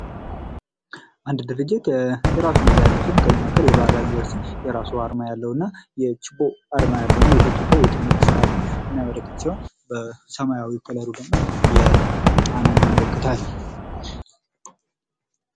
አንድ ድርጅት የራሱ መለያ ያለው ሲሆን ከዚህም መካከል የባህር ዳር ዩኒቨርስቲ የራሱ የሆነ አርማ ያለው እና የችቦ ያለው ችቦው የትምህርት ስርዓትን የሚያመለክት ሲሆን በሰማያዊ ከለሩ ደግሞ የጣናን ያመለክታል ።